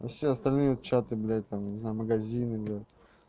а все остальные чаты блядь там не знаю магазины бля